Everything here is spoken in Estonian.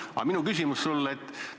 Aga minu küsimus sulle on selline.